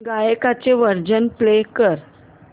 गाण्याचे version play कर